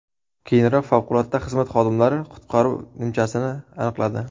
Keyinroq favqulodda xizmat xodimlari qutqaruv nimchasini aniqladi.